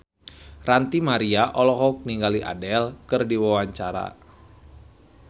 Ranty Maria olohok ningali Adele keur diwawancara